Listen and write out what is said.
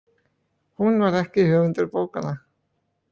Hún var ekki höfundur bókanna.